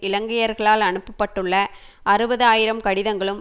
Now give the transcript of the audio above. இலங்கையர்களால் அனுப்பப்பட்டுள்ள அறுபது ஆயிரம் கடிதங்களும்